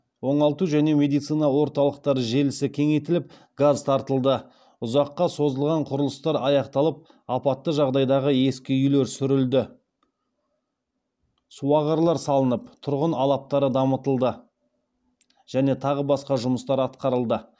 оңалту және медицина орталықтары желісі кеңейтіліп газ тартылды ұзаққа созылған құрылыстар аяқталып апатты жағдайдағы ескі үйлер сүрілді суағарлар салынып тұрғын алаптары дамытылды және тағы басқа жұмыстар атқарылды